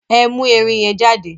Ẹ mú ẹrin yẹn jáde!